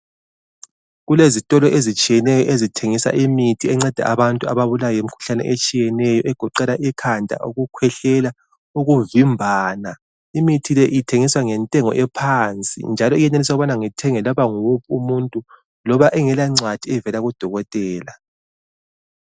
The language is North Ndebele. Kulezitolo ezitshiyeneyo ezithengisa imithi enceda abantu ababulawa yimikhuhlane etshiyeneyo egoqela ikhanda, ukukhwehlela, ukuvimbana. Imithi le ithengiswa ngentengo ephansi njalo iyeneliseka ukuba ithengwe loba nguwuphi umuntu loba engelancwadi evela kudokotela.